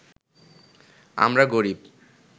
আমরা গরিব